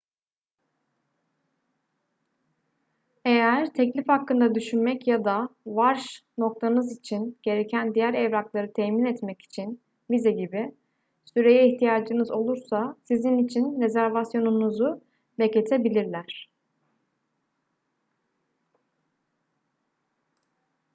eğer teklif hakkında düşünmek ya da varş noktanız için gereken diğer evrakları temin etmek için vize gibi süreye ihtiyacınız olursa sizin için rezervasyonunuzu bekletebilirler